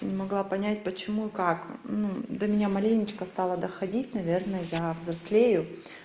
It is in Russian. не могла понять почему и как ну да меня маленечко стало доходить наверное я взрослею